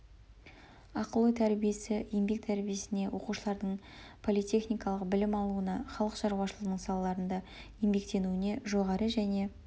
ақыл ой тәрбиесі еңбек тәрбиесіне оқушылардың политехникалық білім алуына халық шарушылығының салаларында еңбек теуіне жоғары және